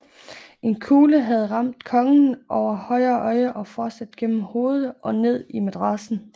En kugle havde ramt kongen over højre øje og fortsat gennem hovedet og ned i madrassen